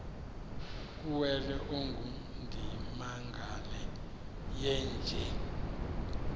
kuwele ongundimangele yeenje